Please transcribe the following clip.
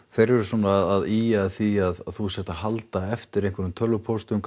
þeir eru svona að ýja að því að þú sért að halda eftir einhverjum tölvupóstum